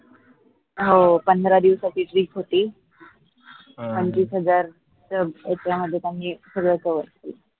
हो पंधरा दिवसाची trip होती पंचवीस हजार च यांच्यामध्ये त्यांनी सगळं cover केलं